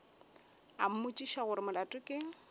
a mmotšiša gore molato ke